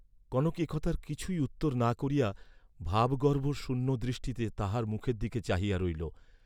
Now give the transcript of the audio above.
কনক এ কথার কিছুই উত্তর না করিয়া ভাবগর্ভ শূন্য দৃষ্টিতে তাঁহার মুখের দিকে চাহিয়া রহিল।